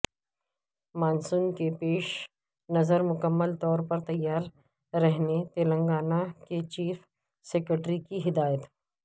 monsoon کے پیش نظر مکمل طور پر تیار رہنے تلنگانہ کے چیف سکریٹری کی ہدایت